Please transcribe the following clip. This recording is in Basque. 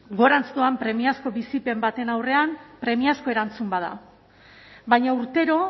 doan premiazko bizipen baten aurrean premiazko erantzun bada baina urtero